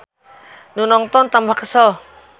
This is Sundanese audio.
Nu nongton tambah kesel.